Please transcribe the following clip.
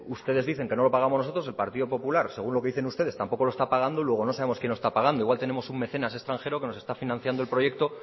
ustedes dicen que no lo pagamos nosotros el partido popular según lo que dicen ustedes tampoco lo está pagando luego no sabemos quién lo está pagando igual tenemos un mecenas extranjero que nos está financiando el proyecto